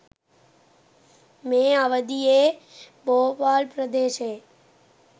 මේ අවධියේ බෝපාල් ප්‍රදේශයේ